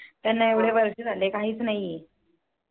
त्याना एवढे वर्ष झाले काहीच नाही आहे.